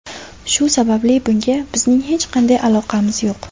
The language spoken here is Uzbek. Shu sababli bunga bizning hech qanday aloqamiz yo‘q.